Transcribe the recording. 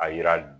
A yira